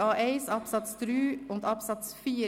Artikel 49a1 Absatz 3 und Absatz 4.